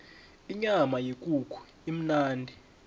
inyama yekukhu imnandi